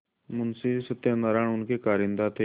मुंशी सत्यनारायण उनके कारिंदा थे